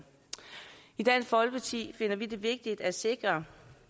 i dansk folkeparti finder vi det vigtigt at sikre